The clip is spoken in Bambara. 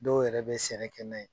Dɔw yɛrɛ bɛ sɛnɛ kɛ n'a ye.